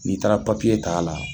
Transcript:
N'i taara papiye t'a la.